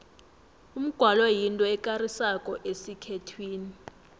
umgwalo yinto ekarisako esikhethwini